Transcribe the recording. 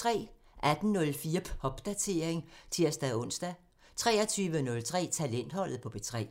18:04: Popdatering (tir-ons) 23:03: Talentholdet på P3